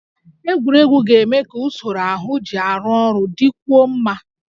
Egwuregwu ga-eme ka usoro ahụ ji arụ ọrụ dịkwuo mma